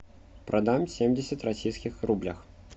продам семьдесят российских рублях